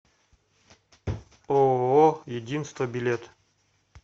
ооо единство билет